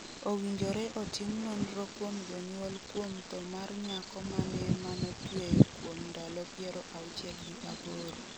Owinjore otim nonro kuom jonyuol kuom tho mar nyako ma ne manotweyo kuom ndalo 68 .